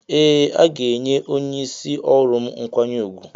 Ee aga enye onye isi ọrụm mkwanye ugwu.